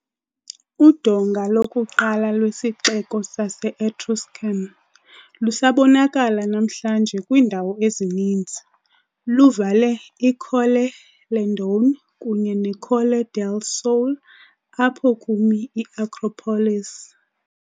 Udonga lokuqala lwesixeko sase-Etruscan, lusabonakala namhlanje kwiindawo ezininzi, luvale iColle Landone kunye neColle del Sole, apho kumi i-acropolis.